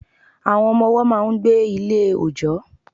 Àwọn Ọmọ ọwọ́ máa n gbé Ilé òjọ́